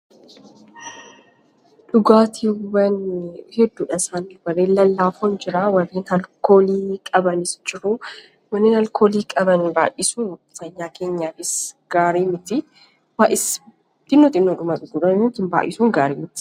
Dhugaatiin gosoota garagaraatu jiru. Isaanis gosoota dhugaatii lallaafaa fi gosoota dhugaatii alkoolii qabanidha. dhugaatiin alkoolii qaban dhiibaa namarraan waan gahaniif dhuguu dhiisuun barbaachisaadha.